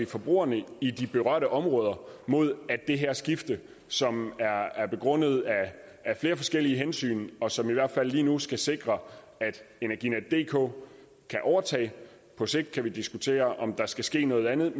forbrugerne i de berørte områder mod at det her skifte som er begrundet af flere forskellige hensyn og som i hvert fald lige nu skal sikre at energinetdk kan overtage på sigt kan vi diskutere om der skal ske noget andet